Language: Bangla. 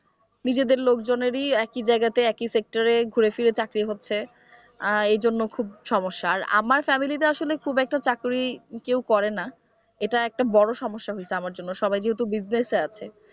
নিজেদের লোকজনেরই একই জায়গাতে একই sector এ ঘুরেফিরে চাকরি হচ্ছে আহ এজন্য খুব সমস্যা আর আমার ফ্যামিলিতে আসলে খুব একটা চাকরি কেউ করে না এটা একটা বড় সমস্যা হয়েছে আমার জন্য সবাই যেহেতু business এ আছে ।